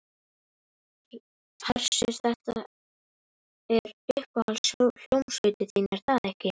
Hersir, þetta er uppáhalds hljómsveitin þín er það ekki?